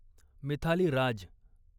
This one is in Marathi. मिथाली राज